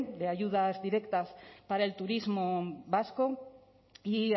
de ayudas directas para el turismo vasco y